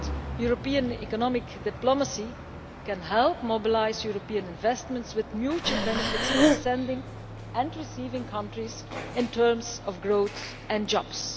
European economic diplomacy can help mobilise European investments, with mutual benefits for the sending and receiving countries in terms of growth and jobs.